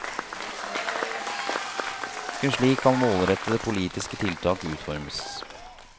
Kun slik kan målrettede politiske tiltak utformes.